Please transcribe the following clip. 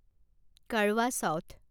Karwa south